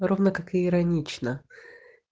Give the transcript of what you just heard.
ровно как и иронично